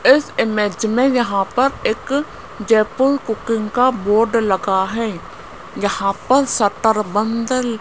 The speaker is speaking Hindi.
इस इमेज में यहां पर एक जयपुर कुकिंग का बोर्ड लगा है यहां पर सत्तर बंद --